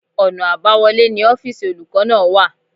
Ọ̀nà àbáwọlé ni ọ́fìsì olùkọ́ náà wà